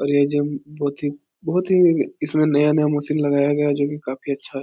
और ये जिम बोहोत ही बोहोत ही नया-नया मशीन लगाया है जो काफी अच्छा है।